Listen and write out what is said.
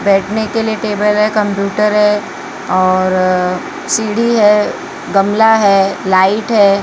बैठने के लिए टेबल है कंप्यूटर है और सीढ़ी है गमला है लाइट है।